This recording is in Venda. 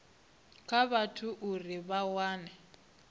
kha vhathu uri vha wane